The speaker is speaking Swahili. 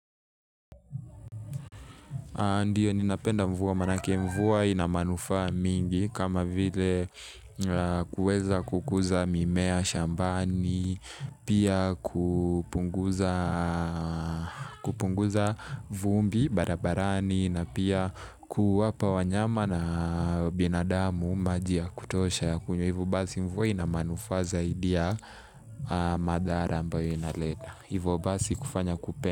Ndiyo ninapenda mvua maana yake mvua ina manufaa mingi kama vile kuweza kukuza mimea, shambani, pia kupunguza vumbi, barabarani, na pia kuwapa wanyama na binadamu maji ya kutosha. Kwa hvyo basi mvua ina manufaa zaidi ya madhara ambayo inaleta. Hivo basi kufanya kupenda.